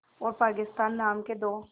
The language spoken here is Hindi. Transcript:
और पाकिस्तान नाम के दो